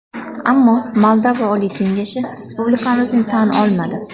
Ammo Moldova Oliy Kengashi respublikamizni tan olmadi.